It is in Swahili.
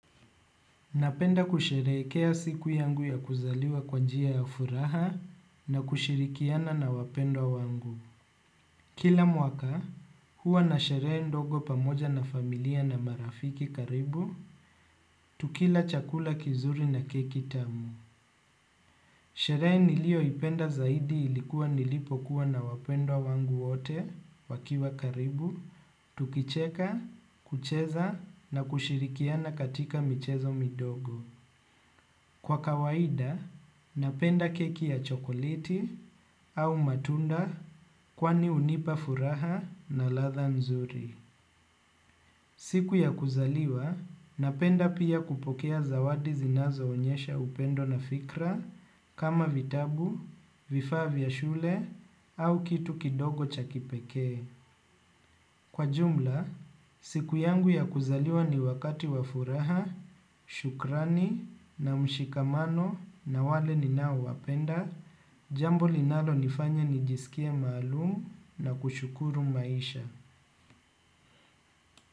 Napenda kusherehekea siku yangu ya kuzaliwa kwa njia ya furaha na kushirikiana na wapendwa wangu. Kila mwaka, huwa na sheree ndogo pamoja na familia na marafiki karibu, tukila chakula kizuri na keki tamu. Sheree niliyo ipenda zaidi ilikuwa nilipokuwa na wapendwa wangu wote wakiwa karibu, tukicheka, kucheza na kushirikiana katika michezo midogo. Kwa kawaida, napenda keki ya chokoliti au matunda kwani unipa furaha na ladha nzuri. Siku ya kuzaliwa, napenda pia kupokea zawadi zinazo onyesha upendo na fikra kama vitabu, vifaa vya shule au kitu kidogo cha kipeke. Kwa jumla, siku yangu ya kuzaliwa ni wakati wafuraha, shukrani na mshikamano na wale ni nao wapenda, jambo linalo nifanya ni jisikia maalumu na kushukuru maisha.